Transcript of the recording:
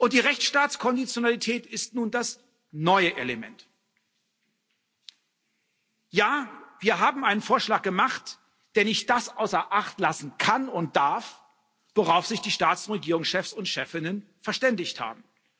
Die Rechtsstaatskonditionalität ist nun das neue Element. Ja, wir haben einen Vorschlag gemacht, der nicht das außer Acht lassen kann und darf, worauf sich die Staats und Regierungschefs und chefinnen verständigt haben.